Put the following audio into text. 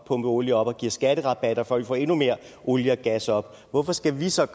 olie op og giver skatterabatter for at få endnu mere olie og gas op hvorfor skal vi så